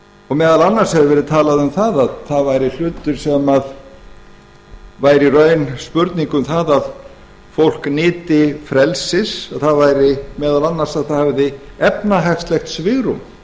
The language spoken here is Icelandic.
og meðal annars hefur verið talað um að það væri hlutur sem væri í raun spurning um það að fólk nyti frelsis það væri meðal annars að það hefði efnahagslegt svigrúm